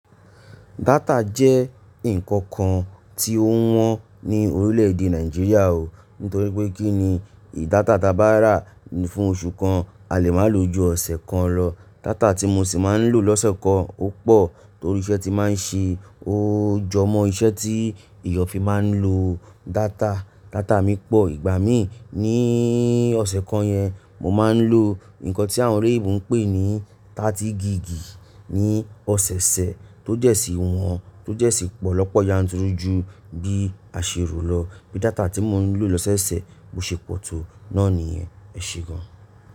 Data jẹ́ nǹkan kan tí ó wọ́n ní orílẹ̀ èdè Nàìjíríà o. Nítorí pé kí ni data ta bá rà fún oṣù kan, a lè máa lò ju ọ̀sẹ̀ kan lọ. Data tí mo sì máa ń lò lọ́sẹ̀ kan ó pọ̀ torí iṣẹ́ tí màá ń ṣe. Ó jọ mọ́ iṣẹ́ tí èèyàn fi máa ń lo data. Data mi pọ̀. Ìgbà mí ní ọ̀sẹ̀ kan yẹn, mo máa ń lò nǹkan tí àwọn olóyìnbó ń pè ní ọgbọ̀n gigì ní ọ̀sẹ̀ ṣẹ̀ tó jẹ̀si wọ́n, tó jẹ̀si pọ̀lọ́pọ̀ yanturu ju bí a ṣe rò lọ. Bí data tí mò ń lò lọ́sẹ̀ oṣẹ̀ bo ṣe pọ̀ tó, náà ni yen. Ẹ ṣe gan.